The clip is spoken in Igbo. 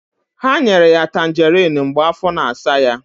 Ha nyere ya Tanjeriin mgbe afọ na-asa ya.